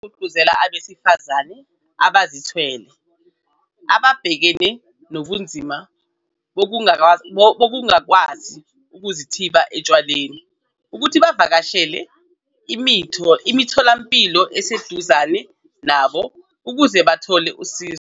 Ugqugquzele abesifazane abazethwele ababhekene nobunzima bokungakwazi ukuzithiba otshwaleni ukuthi bavakashele imitho lampilo eseduze nabo ukuze bezothola usizo.